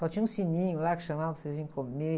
Só tinha um sininho lá que chamava para você vir comer.